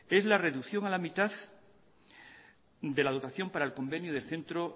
es la reducción a la mitad de la dotación para el convenio de centro